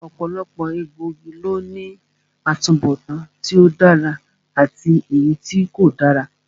Ọ̀pọ̀lọpọ̀ egbòogi ló ní atubọtan tí ó dára àti èyítí kò dára